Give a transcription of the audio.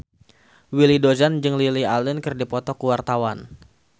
Willy Dozan jeung Lily Allen keur dipoto ku wartawan